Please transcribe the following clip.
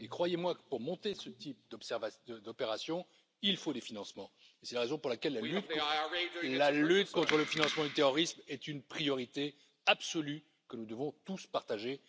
Croyez moi, pour monter ce type d'opération, il faut des financements et c'est la raison pour laquelle la lutte contre le financement du terrorisme est une priorité absolue que nous devons tous partager.